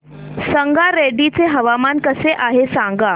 संगारेड्डी चे हवामान कसे आहे सांगा